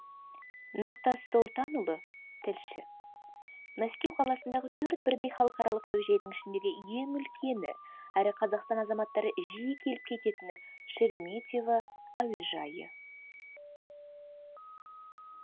нұртас солтанұлы тілші мәскеу қаласындағы төрт бірдей халықаралық әуежайдың ішіндегі ең үлкені әрі қазақстан азаматтары жиі келіп кететіні шереметьево әуежайы